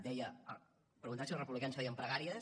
deia preguntava si els republicans feien pregàries